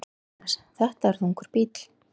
Jóhannes: Þetta er þungur bíll?